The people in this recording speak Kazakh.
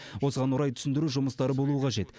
осыған орай түсіндіру жұмыстары болуы қажет